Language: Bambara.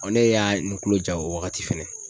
ne y'a n kulo ja o wagati fɛnɛ